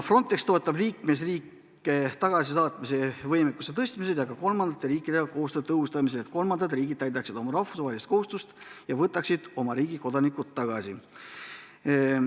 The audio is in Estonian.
Frontex toetab liikmesriike tagasisaatmise võimekuse tõstmisel ja ka kolmandate riikidega koostöö tõhustamisel, et kolmandad riigid täidaksid oma rahvusvahelist kohustust ja võtaksid oma kodanikud tagasi.